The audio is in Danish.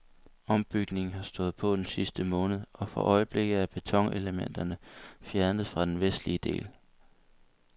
Ombygningen har stået på den sidste måned og for øjeblikket er betonelementerne fjernet fra den vestlige del.